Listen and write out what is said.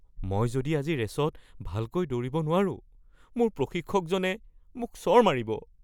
মই যদি আজি ৰে'চত ভালকৈ দৌৰিব নোৱাৰোঁ, মোৰ প্ৰশিক্ষকজনে মোক চৰ মাৰিব।